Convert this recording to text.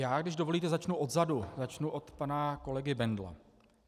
Já, když dovolíte, začnu odzadu, začnu od pana kolegy Bendla.